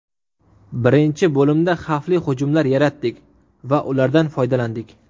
Birinchi bo‘limda xavfli hujumlar yaratdik va ulardan foydalandik.